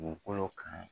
Dugukolo kan